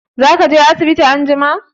Za ka je asibiti anjima?